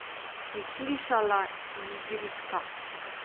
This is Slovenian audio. Si slišala, Ingridka?